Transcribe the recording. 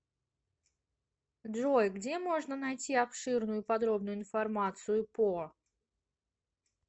джой где можно найти обширную и подробную информацию по